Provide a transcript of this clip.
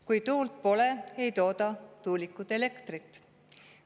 Kui tuult pole, ei tooda tuulikud elektrit.